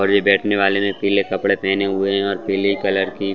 और ये बैठने वाले ने पीले कपड़े पहने हुए हैं और पीले कलर की--